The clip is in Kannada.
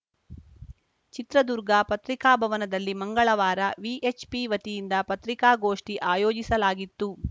ಚಿತ್ರದುರ್ಗ ಪತ್ರಿಕಾಭವನದಲ್ಲಿ ಮಂಗಳವಾರ ವಿಎಚ್‌ಪಿ ವತಿಯಿಂದ ಪತ್ರಿಕಾಗೋಷ್ಠಿ ಆಯೋಜಿಸಲಾಗಿತ್ತು